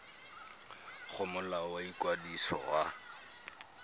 go molao wa ikwadiso wa